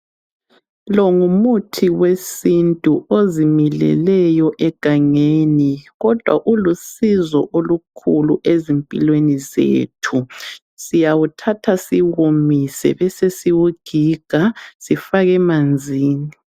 Lo ngumuthi wesintu ozimileleyo egangeni. Kodwa ulusizo olukhulu ezimpilweni zethu. Siyawuthatha siwomise, besesiwugiga, sifake emanzini.